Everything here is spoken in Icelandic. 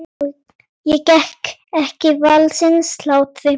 Ég get ekki varist hlátri.